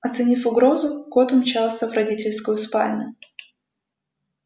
оценив угрозу кот умчался в родительскую спальню